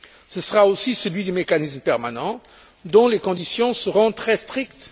Ce sera aussi celui du mécanisme permanent, dont les conditions seront très strictes.